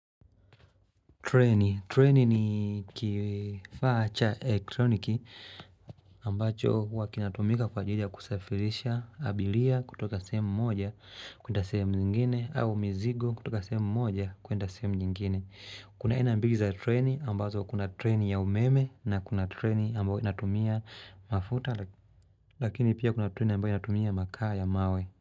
Treni. Treni ni kifaa cha elektroniki ambacho huwa kinatumika kwa ajili ya kusafirisha abilia kutoka semu moja kuenda semu nyingine au mizigo kutoka sehemu moja kwenda sehemu nyingine. Kuna aina mbili za treni ambazo kuna treni ya umeme na kuna treni ambayo inatumia mafuta lakini pia kuna treni ambayo inatumia makaa ya mawe.